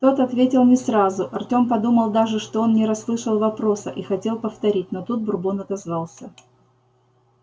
тот ответил не сразу артем подумал даже что он не расслышал вопроса и хотел повторить но тут бурбон отозвался